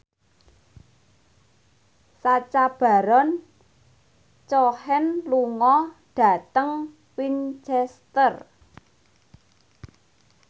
Sacha Baron Cohen lunga dhateng Winchester